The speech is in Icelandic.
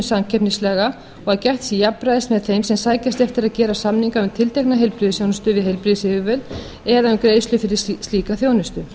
og að gætt sé jafnræðis með þeim sem sækjast eftir að gera samninga um tiltekna heilbrigðisþjónustu við heilbrigðisyfirvöld eða um greiðslu fyrir slíka þjónustu